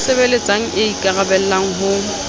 e sebeletsang e ikaraballang ho